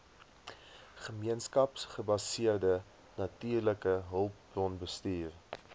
gemeenskapsgebaseerde natuurlike hulpbronbestuur